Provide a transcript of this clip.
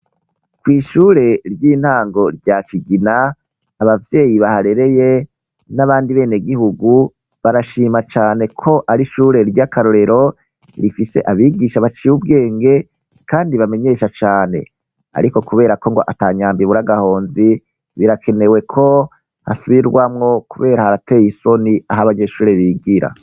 kw' ishure ry'intango rya Kigina, abavyeyi baharereye n'abandi benegihugu barashima cane ko ari ishure ry'akarorero rifise abigisha baciye ubwenge kandi bamenyesha cane. Ariko kubera ko ngo ata nyambo ibura agahonzi, birakenewe ko hasubirwamwo kubera harateye isoni aho abanyeshuri bigira.